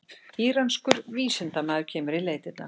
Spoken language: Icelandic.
Íranskur vísindamaður kemur í leitirnar